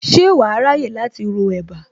Ṣé wàá ráyè láti ro ẹ̀bá